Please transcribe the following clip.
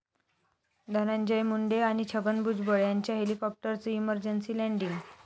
धनंजय मुंडे आणि छगन भुजबळ यांच्या हेलिकॉप्टरचं इमर्जन्सी लँडिंग